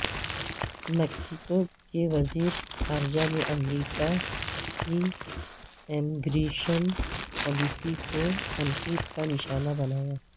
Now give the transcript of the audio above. Mexico کے وزیر خارجہ نے امریکہ کی امیگریشن پالیسی کو تنقید کا نشانہ بنایا